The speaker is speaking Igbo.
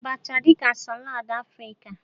A maara Abacha dị ka salad Africa.